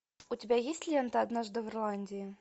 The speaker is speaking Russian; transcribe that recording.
у тебя есть лента однажды в ирландии